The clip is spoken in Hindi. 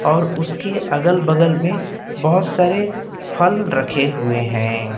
और उसके अगल बगल में बहुत सारे फल रखे हुए हैं।